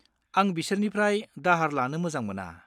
आं बिसोरनिफ्राय दाहार लानो मोजां मोना।